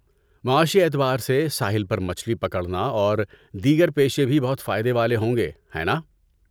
معاشی اعتبار سے، ساحل پر مچھلی پکڑنا اور دیگر پیشے بھی بہت فائدے والے ہوں گے، ہے ناں؟